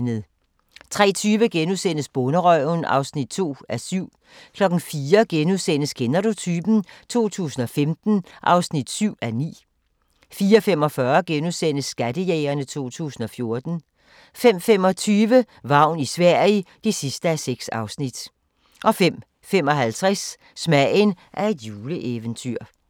03:20: Bonderøven (2:7)* 04:00: Kender du typen? 2015 (7:9)* 04:45: Skattejægerne 2014 * 05:25: Vagn i Sverige (6:6) 05:55: Smagen af et juleeventyr